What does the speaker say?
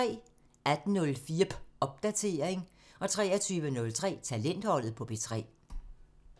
18:04: Popdatering (tir) 23:03: Talentholdet på P3 (tir)